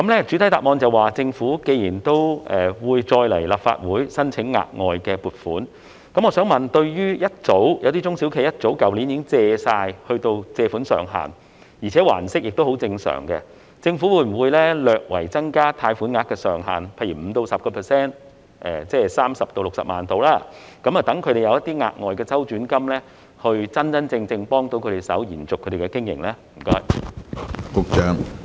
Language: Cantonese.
主體答覆指出，政府會再次向立法會申請額外撥款，我想問，有些中小企去年早已達到貸款上限，而且還息也十分正常，政府會否略為增加他們的貸款額上限，例如 5% 至 10%， 即是大約30萬元至60萬元，讓他們有額外的周轉金，真真正正幫助他們延續經營呢？